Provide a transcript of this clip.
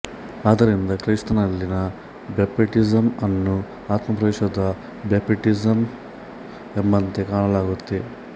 ಆದ್ದರಿಂದ ಕ್ರೈಸ್ತನಲ್ಲಿನ ಬ್ಯಾಪ್ಟಿಸಮ್ ಅನ್ನು ಆತ್ಮಪ್ರವೇಶದ ಬ್ಯಾಪ್ಟಿಸಮ್ ಎಂಬಂತೆ ಕಾಣಲಾಗುತ್ತದೆ